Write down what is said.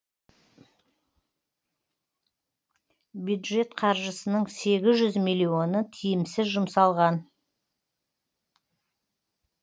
бюджет қаржысының сегіз жүз миллионы тиімсіз жұмсалған